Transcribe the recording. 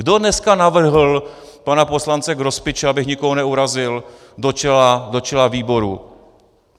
Kdo dneska navrhl pana poslance Grospiče, abych nikoho neurazil, do čela výboru?